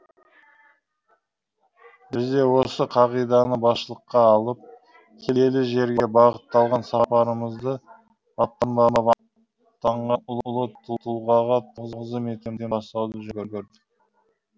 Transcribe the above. біз де осы қағиданы басшылыққа алып киелі жерге бағытталған сапарымызды бабтардың бабы атанған ұлы тұлғаға тағзым етуден бастауды жөн көрдік